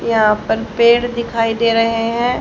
यहां पर पेड़ दिखाई दे रहे हैं।